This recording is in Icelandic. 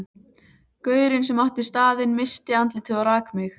Gaurinn sem átti staðinn missti andlitið og rak mig.